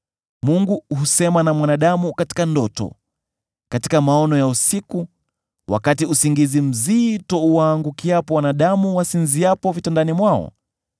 Mungu husema na mwanadamu katika ndoto, katika maono ya usiku, wakati usingizi mzito uwaangukiapo wanadamu wasinziapo vitandani mwao,